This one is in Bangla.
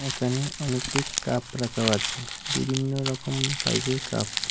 একানে অনেকটি কাপ রাকাও আচে বিভিন্ন রকমের সাইজের কাপ ।